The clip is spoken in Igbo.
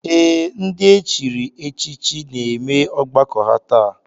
Ee, ndị e chiri echichi na-eme ọgbakọ ha taa